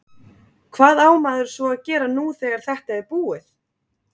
Hvað á maður svo að gera nú þegar þetta er búið?